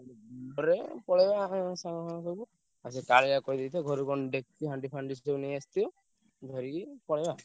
ପଳେଇବା ରେ ପଳେଇବା ଆମେ ସାଙ୍ଗମାନେ ସବୁ ଆଉ ସେ କାଳିଆକୁ କହିଦେଇଥିବ ଘରୁ କଣ ଡେକ୍ଚି ହାଣ୍ଡି ଫାଣ୍ଡି ସେ ସବୁ ନେଇ ଆସିଥିବ। ଧରିକି ପଳେଇବା।